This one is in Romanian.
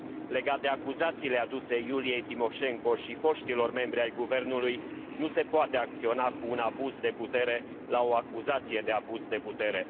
Legat de acuzațiile aduse Iuliei Timoșenko și foștilor membrilor ai guvernului, nu se poate acționa cu un abuz de putere la o acuzație de abuz de putere.